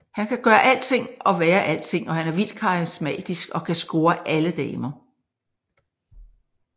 Han kan gøre alting og være alting og han er vildt karismatisk og kan score alle damer